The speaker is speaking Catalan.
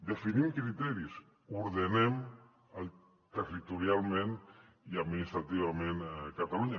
definim criteris ordenem territorialment i administrativament catalunya